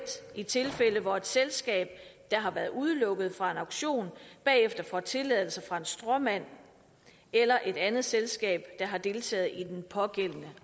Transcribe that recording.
i tilfælde hvor et selskab der har været udelukket fra en auktion bagefter får tilladelser fra en stråmand eller et andet selskab der har deltaget i den pågældende